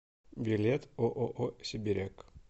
билет ооо сибиряк